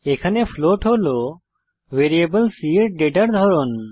এখানে ফ্লোট হল variable c এর ডেটার ধরন